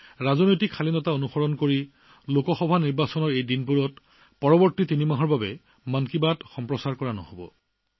তথাপিও ৰাজনৈতিক মৰ্যাদা অক্ষুণ্ণ ৰাখিবলৈ লোকসভা নিৰ্বাচনৰ এই দিনকেইটাত অহা তিনিমাহলৈ মন কী বাত কাৰ্যসূচী প্ৰচাৰ নহব